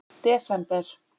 desember